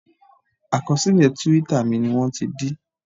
Àkọsílẹ̀ twitter mi ni wọ́n ti dí